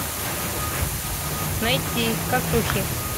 найти косухи